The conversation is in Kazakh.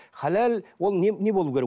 халал ол не не болуы керек